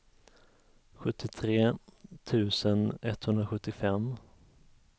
sjuttiotre tusen etthundrasjuttiofem